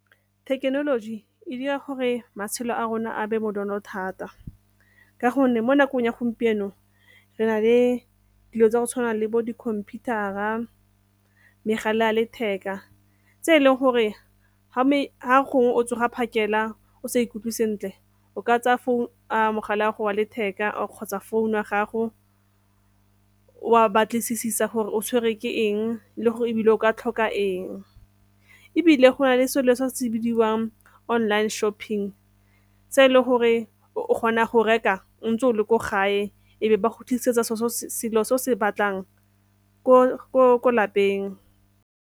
Thekenoloji e dira gore matshelo a rona a be bonolo thata ka gonne mo nakong ya gompieno re na le dilo tsa go tshwana le bo di-computer-ra, megala ya letheka tse e leng gore ha gongwe o tsoga phakela o sa ikutlwe sentle o ka tsaya mogala wa letheka kgotsa founu ya gago o a batlisisa gore o tshwerwe ke eng le ebile o ka tlhoka. Ebile go na le selo se se bidiwang online shopping se e leng gore o kgona go reka ntse o le ko gae e be ba go tlisetsa selo se o se batlang ko lapeng.